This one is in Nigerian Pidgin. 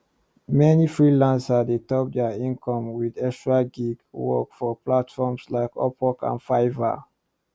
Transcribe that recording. meni freelancers dey top dia income with extra gig work for platforms like upwork or fiverr